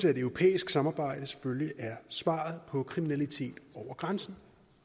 at et europæisk samarbejde er svaret på kriminalitet over grænsen